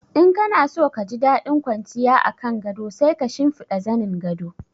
In kana so ka ji daɗin kwanciya a kan gado sai ka shinfiɗa zanin gado.